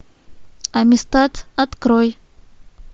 амистад открой